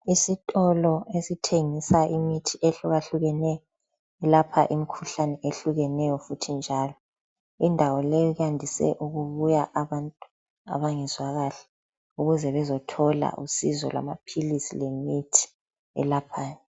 Esitolo esithengisa imithi ehlukahlukeneyo eyelapha imikhuhlane ehlukeneyo njalo. Indawo le yandise ukubuya abantu abangezwa kahle ukuze bezothola usizo lwamaphilisi lemithi elaphayo.